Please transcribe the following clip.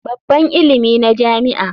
Babban ilimi na jami'a.